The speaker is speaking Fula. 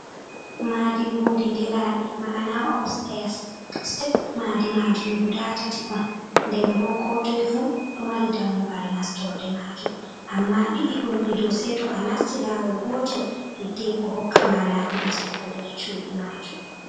"Maadi" lundi diraaɗi ma’ana opsteyas sitep maadi majum guda tati on nden bo ko toi fu ɗo mari dammugal nastorde majum amma ɗiɗii ɗo gondido ɗo saito a nasti lawol gotol hiddeko hokkama laabi nastugo nder chudii majum.